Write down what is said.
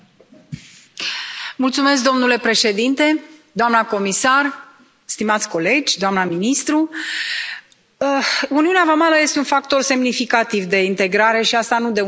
Domnule președinte, doamnă comisar, stimați colegi, doamnă ministru, uniunea vamală este un factor semnificativ de integrare, și nu de un an, doi de zeci de ani.